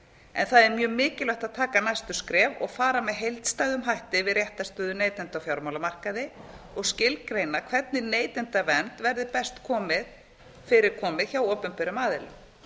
en það er mjög mikilvægt að taka næstu skref og fara með heildstæðum hætti yfir réttarstöðu neytenda á fjármálamarkaði og skilgreina hvernig neytendavernd verði best fyrir komið hjá opinberum aðilum